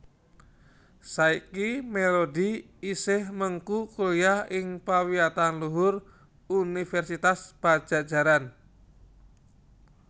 Saiki Melody isih mengku kuliah ing pawiyatan luhur Universitas Padjadjaran